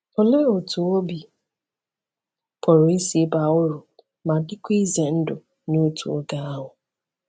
Olee otú obi pụrụ isi baa uru ma dịkwa ize ndụ n’otu oge ahụ?